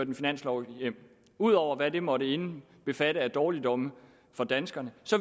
en finanslov hjem ud over hvad det måtte indbefatte at dårligdomme for danskerne